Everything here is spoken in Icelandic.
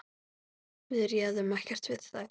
Við réðum ekkert við þær.